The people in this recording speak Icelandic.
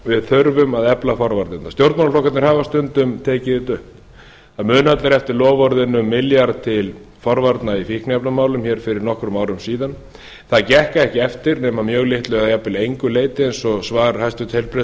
við þurfum að efla forvarnirnar stjórnmálaflokkarnir hafa stundum tekið þetta upp það muna allir eftir loforðinu um milljarð til forvarna í fíkniefnamálum hér fyrir nokkrum árum síðan það gekk ekki eftir nema að mjög litlu eða jafnvel engu leyti eins og svar hæstvirtur